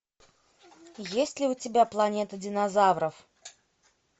есть ли у тебя планета динозавров